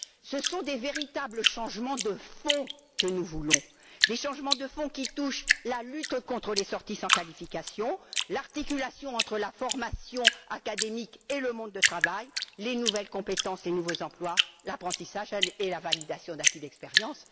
Ce sont des changements de fond que nous voulons, des changements qui touchent la lutte contre les sorties des études sans qualifications, l'articulation entre la formation académique et le monde du travail, les nouvelles compétences et nouveaux emplois, l'apprentissage et la validation d'acquis d'expérience.